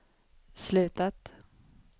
slutat